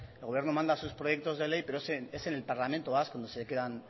el gobierno manda sus proyectos de ley pero es en el parlamento vasco donde se quedan